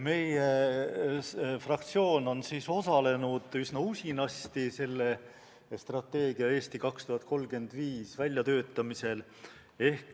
Meie fraktsioon osales üsna usinasti strateegia "Eesti 2035" väljatöötamisel.